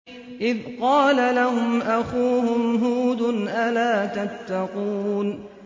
إِذْ قَالَ لَهُمْ أَخُوهُمْ هُودٌ أَلَا تَتَّقُونَ